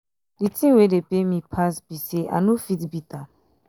the thing wey dey pain me pass be say i no fit beat am